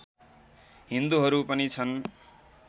हिन्दुहरू पनि छन्